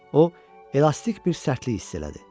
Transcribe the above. O, elastik bir sərtlik hiss elədi.